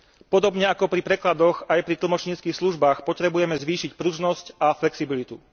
Podobne ako pri prekladoch, aj pri tlmočníckych službách potrebujeme zvýšiť pružnosť a flexibilitu.